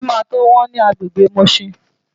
Ilé máa tó wọ́n ní agbègbè Mushin.